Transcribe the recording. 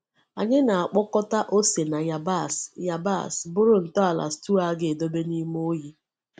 Anyị na-akpọkọta ose na yabasị yabasị bụrụ ntọala stew a ga-edobe n’ime oyi.